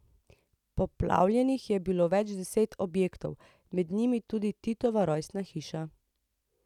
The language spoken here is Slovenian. Poplavljenih je bilo več deset objektov, med njimi tudi Titova rojstna hiša.